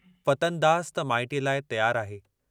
फतनदास त माइटीअ लाइ तियार आहे।